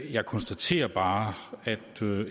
jeg konstaterer bare at